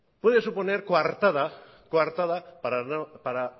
puede suponer coartada para